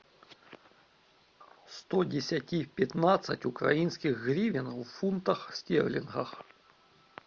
сто десяти пятнадцать украинских гривен в фунтах стерлингов